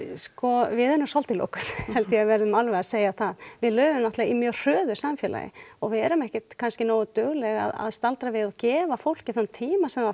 sko við erum svolítið lokuð held að við verðum alveg að segja það við lifum náttúrulega í mjög hröðu samfélagi og við erum ekkert kannski nógu dugleg að staldra við og gefa fólki þann tíma sem það